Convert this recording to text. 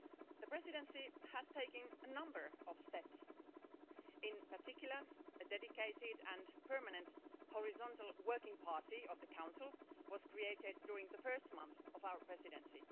The Presidency has taken a number of steps, in particular a dedicated and permanent horizontal working party of the Council was created during the first month of our Presidency.